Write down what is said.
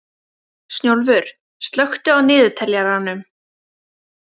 Snjólfur, slökktu á niðurteljaranum.